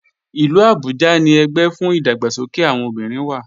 Ìlú Abuja ni ẹgbẹ́ fún ìdàgbàsókè àwọn obìnrin wà